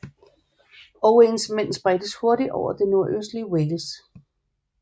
Owains mænd spredtes hurtigt over det nordøstlige Wales